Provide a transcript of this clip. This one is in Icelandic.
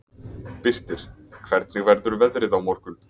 Birtir, hvernig verður veðrið á morgun?